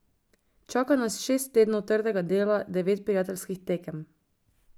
Čaka nas šest tednov trdega dela, devet prijateljskih tekem.